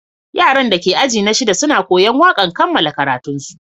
Yaran da ke ajina shida suna koya'n wakan kamalan karatun su.